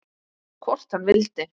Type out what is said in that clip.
Hvort hann vildi!